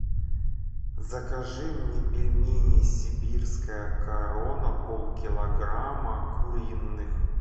закажи мне пельмени сибирская корона полкилограмма куриных